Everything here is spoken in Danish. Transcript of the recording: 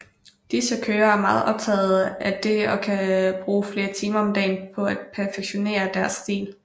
Disse kørere er meget optaget af det og kan bruge flere timer om dagen på at perfektionere deres stil